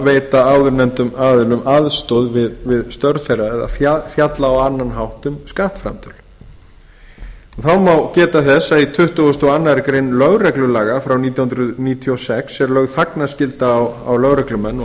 veita áðurnefndum aðilum aðstoð við störf þeirra eða fjalla á annan hátt um skattframtöl þágu geta þess að í tuttugasta og annarrar greinar lögreglulaga frá nítján hundruð níutíu og sex er lögð þagnarskylda á lögreglumenn og